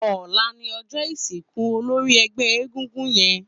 Ólà ni ọjọ isinkú ólóri ẹgbẹ egúngún yèn